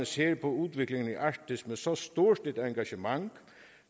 ser på udviklingen i arktis med så stort et engagement